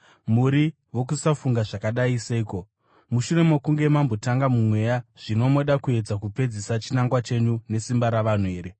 Muri vokusafunga zvakadai seiko? Mushure mokunge mambotanga muMweya, zvino moda kuedza kupedzisa chinangwa chenyu nesimba ravanhu here?